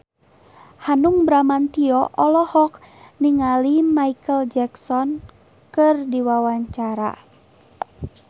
Hanung Bramantyo olohok ningali Micheal Jackson keur diwawancara